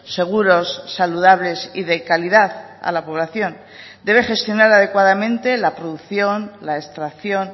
seguros saludables y de calidad a la población debe gestionar adecuadamente la producción la extracción